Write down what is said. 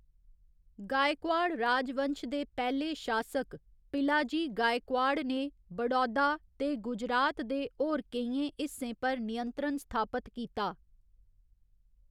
गायकवाड़ राजवंश दे पैह्‌ले शासक पिलाजी गायकवाड़ ने बड़ौदा ते गुजरात दे होर केइयें हिस्सें पर नियंत्रण स्थापत कीता।